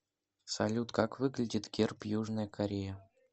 салют как выглядит герб южная корея